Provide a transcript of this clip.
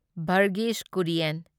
Varghese Kurien